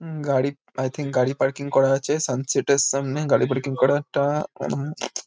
উম গাড়ি I think গাড়ি parking করা আছে সানসেট -এর সামনে গাড়ি পার্কিং করা একটা উম--